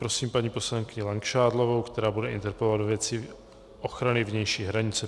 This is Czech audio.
Prosím paní poslankyni Langšádlovou, která bude interpelovat ve věci ochrany vnější hranice.